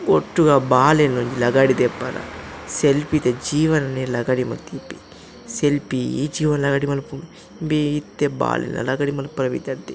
ಒಟ್ಟುಗು ಅವು ಬಾಲೆನ್ ಒಂಜಿ ಲಗಾಡಿ ದೆಪ್ಪರೆ ಸೆಲ್ಫಿ ದ ಜೀವನೆನ್ ಲಗಾಡಿ ಮಂತ್ ದೀಪೆ ಸೆಲ್ಫಿ ಈ ಜೀವನನ್ ಲಗಾಡಿ ಮನ್ಪುಂಡು ಇಂಬೆ ಇತ್ತೆ ಬಾಲೆಲ್ನ ಲಗಾಡಿ ಮನ್ಪರೆ ಪಿದಡ್ದೆ.